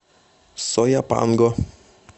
сояпанго